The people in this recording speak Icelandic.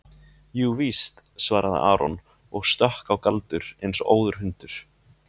Jú víst, svaraði Aron og stökk á Galdur eins og óður hundur.